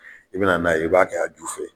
I bɛna n'a ye i b'a kɛ a ju fɛ